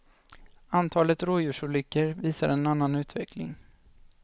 Antalet rådjursolyckor visar en annan utveckling.